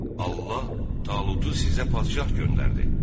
Allah Talutu sizə padşah göndərdi.